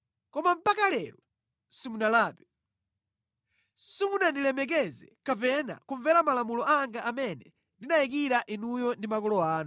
Koma mpaka lero simunalape. Simunandilemekeze kapena kumvera malamulo anga amene ndinayikira inuyo ndi makolo anu.